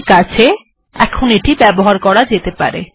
ঠিকআছে এখন এটি ব্যবহার করা যেতে পারে